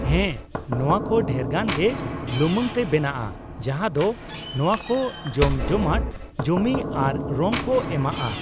ᱦᱮᱸ, ᱱᱚᱶᱟ ᱠᱚ ᱰᱷᱮᱨᱜᱟᱱ ᱜᱮ ᱞᱩᱢᱟᱹᱝ ᱛᱮ ᱵᱮᱱᱟᱜᱼᱟ ᱡᱟᱦᱟᱸ ᱫᱚ ᱱᱚᱶᱟ ᱠᱚ ᱡᱚᱢᱡᱚᱢᱟᱴ ᱡᱚᱢᱤ ᱟᱨ ᱨᱚᱝ ᱠᱚ ᱮᱢᱟᱜᱼᱟ ᱾